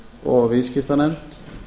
og viðskiptanefnd